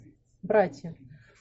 братья